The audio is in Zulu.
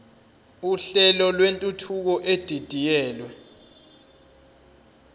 uhlelo lwentuthuko edidiyelwe